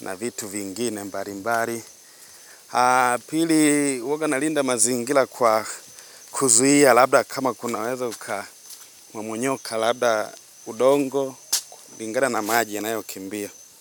na vitu vingine mbali mbali. Pili huwaga nalinda mazingira kwa kuzuia labda kama kunaweza uka mmomonyoka labda udongo, kulingana na maji ya nayo kimbia.